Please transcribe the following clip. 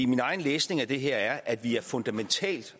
min egen læsning af det her er at vi er fundamentalt